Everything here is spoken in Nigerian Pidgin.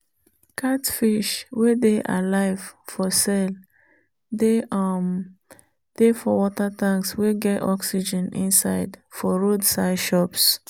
catfish wey dey alive for sale dey um dey for water tanks wey get oxygen inside for road side shops